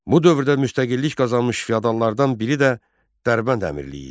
Bu dövrdə müstəqillik qazanmış feodallardan biri də Dərbənd Əmirliyi idi.